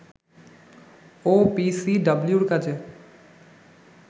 ওপিসিডাব্লিউ-র কাজে